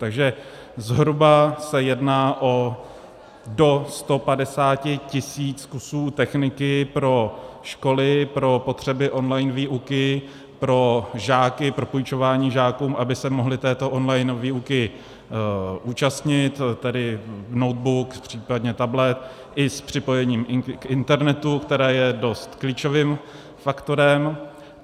Takže zhruba se jedná o do 150 tisíc kusů techniky pro školy pro potřeby online výuky, pro žáky, pro půjčování žákům, aby se mohly této online výuky účastnit, tedy notebook, případně tablet, i s připojením k internetu, které je dost klíčovým faktorem.